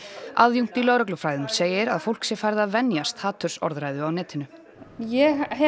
aðjúnkt í lögreglufræðum segir að fólk sé farið að venjast hatursorðræðu á netinu ég hef